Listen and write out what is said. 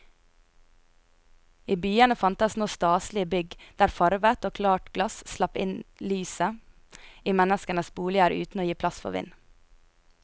I byene fantes nå staselige bygg der farvet og klart glass slapp lyset inn i menneskenes boliger uten å gi pass for vind.